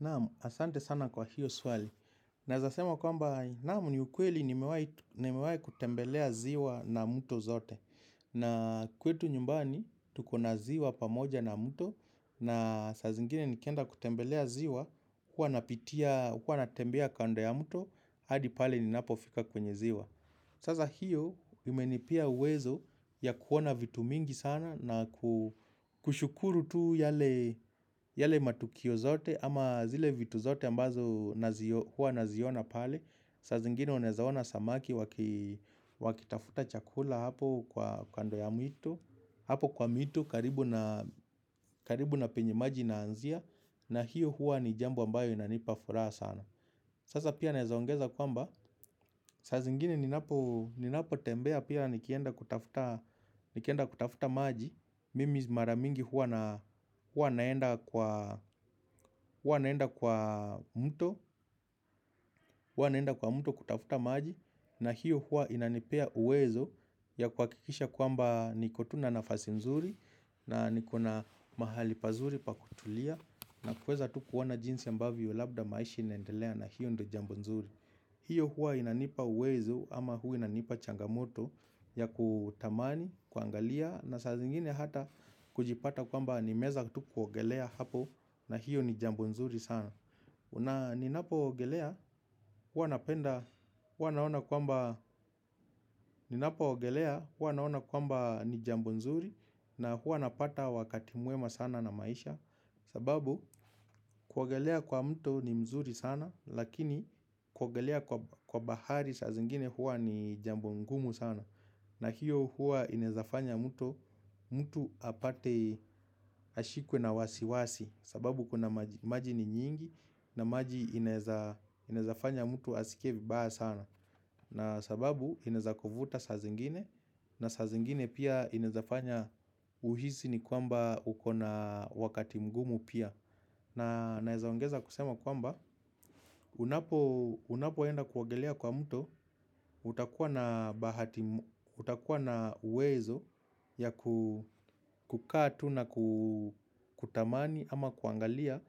Naam, asante sana kwa hiyo swali. Naeza sema kwamba, naam ni ukweli nimewai kutembelea ziwa na mto zote. Na kwetu nyumbani, tuko na ziwa pamoja na mto. Na saa zingine nikienda kutembelea ziwa, huwa napitia, huwa natembea kando ya mto. Hadi pale ninapofika kwenye ziwa. Sasa hiyo, imenipea uwezo ya kuona vitu mingi sana na kushukuru tu yale matukio zote. Ama zile vitu zote ambazo huwa naziona pale saa zingine unaezaona samaki wakitafuta chakula hapo kwa kando ya mito. Hapo kwa mito karibu na penye maji inaanzia. Na hiyo huwa ni jambo ambayo inanipa furaha sana. Sasa pia naeza ongeza kwamba saa zingine ninapo tembea pia nikienda kutafuta maji. Mimi mara mingi huwa naenda kwa mto. Huwa naenda kwa mto kutafuta maji na hiyo huwa inanipea uwezo ya kuhakikisha kwamba niko tu na nafasi nzuri na nikona mahali pazuri pa kutulia na kuweza tu kuona jinsi ambavyo labda maisha inaendelea na hiyo ndo jambo nzuri. Hiyo huwa inanipa uwezo ama huwa inanipa changamoto ya kutamani, kuangalia na saa zingine hata kujipata kwamba nimeeza tu kuogelea hapo na hiyo ni jambo nzuri sana. Ni napo ogelea huwa naona kwamba ni jambo nzuri na huwa napata wakati mwema sana na maisha. Sababu kuogelea kwa mto ni mzuri sana lakini kuogelea kwa bahari saa zingine huwa ni jambo ngumu sana. Na hiyo huwa ineza fanya mtu apate ashikwe na wasiwasi. Sababu kuna maji ni nyingi na maji inaezafanya mtu asikie vibaya sana. Na sababu inaeza kuvuta saa zingine na saa zingine pia inaeza fanya uhisi nikwamba uko na wakati mgumu pia. Na naezaongeza kusema kwamba unapoenda kuongelea kwa mto utakuwa na uwezo ya kukaa tu na kutamani ama kuangalia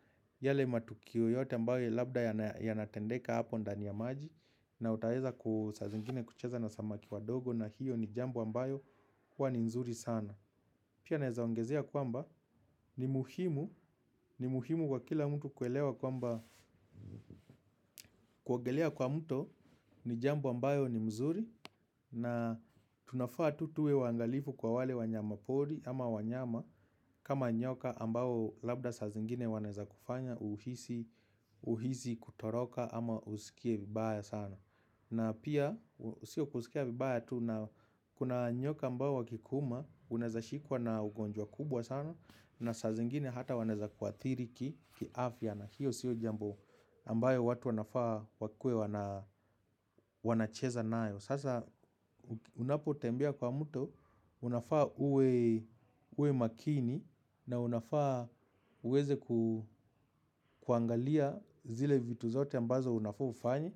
yale matukio yote ambayo labda yanatendeka hapo ndani ya maji. Na utaeza ku saa zingine kucheza na samaki wadogo na hiyo ni jambo ambayo huwa ni nzuri sana. Pia neza ongezea kwamba ni muhimu ni muhimu kwa kila mtu kuelewa kwamba kuongelea kwa mto ni jambo ambayo ni mzuri na tunafaa tu tuwe waangalifu kwa wale wanyama pori ama wanyama kama nyoka ambao labda saa zingine wanaeza kufanya uhisi uhisi kutoroka ama usikie vibaya sana. Na pia, sio kusikia vibaya tu, na kuna nyoka ambao wakikuuma, unaeza shikwa na ugonjwa kubwa sana, na saa zingine hata wanaeza kuathiri kiafya, na hiyo sio jambo ambayo watu wanafaa wakuwe wanacheza nayo. Sasa unapo tembea kwa mto, unafaa uwe makini na unafaa uweze kuangalia zile vitu zote ambazo unafaa ufanye.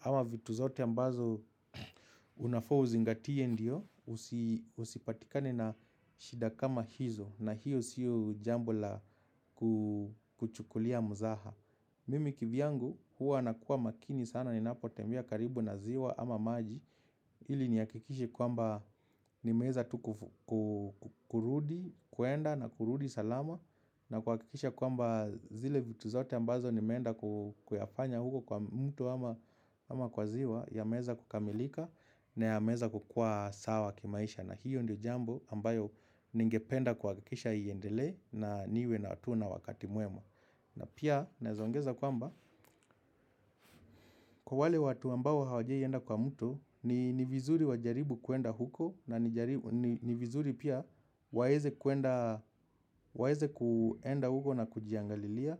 Ama vitu zote ambazo unafaa uzingatie ndio, usipatikane na shida kama hizo na hiyo sio jambo la kuchukulia mzaa. Mimi kivyangu huwa nakuwa makini sana ninapo tembea karibu na ziwa ama maji hili nihakikishe kwamba nimeeza tu kurudi, kwenda na kurudi salama na kuhakikisha kwamba zile vitu zote ambazo nimeenda kuyafanya huko kwa mto ama kwa ziwa yameweza kukamilika na yameweza kukua sawa kimaisha na hiyo ndio jambo ambayo ningependa kuhakikisha iendelee na niwe na hatua na wakati mwema na pia naeza ongeza kwamba kwa wale watu ambao hawajai enda kwa mto. Ni vizuri wajaribu kuenda huko na ni vizuri pia waeze kuenda huko na kujiangalilia.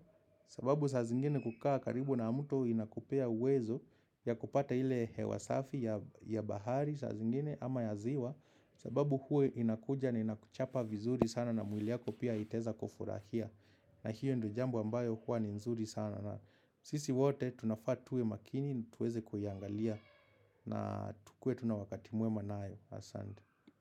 Sababu saa zingine kukaa karibu na muto inakupea uwezo ya kupata ile hewa safi ya bahari saa zingine ama ya ziwa. Sababu huwa inakuja na inakuchapa vizuri sana na mwili yako pia itaeza kufurahia. Na hiyo ndo jambo ambayo huwa ni nzuri sana na sisi wote tunafaa tuwe makini tuweze kuiangalia. Na tukue tu na wakati mwema nayo. Asante.